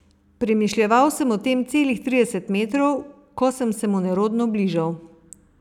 Premišljeval sem o tem celih trideset metrov, ko sem se mu nerodno bližal.